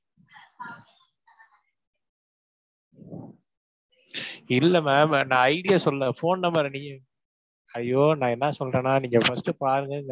இல்ல ma'am அஹ் நான் ID ய சொல்லல phone number அ ஐயோ, நான் என்ன சொல்றேன்னா நீங்க first பாருங்க